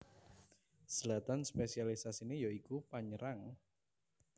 Zlatan spésialisasiné ya iku panyerang